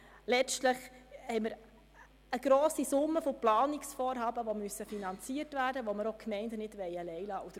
Letztlich besteht eine grosse Summe an Planungsvorhaben, welche finanziert werden müssen und womit wir die Gemeinden auch nicht allein lassen wollen.